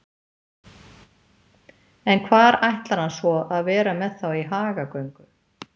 En hvar ætlar hann svo að vera með þá í hagagöngu?